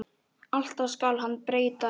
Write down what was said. Alltaf skal hann breyta rétt.